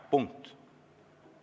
Punkt.